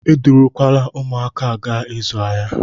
Edurukwala ụmụaka a gaa ịzụ ahịa!